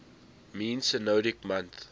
mean synodic month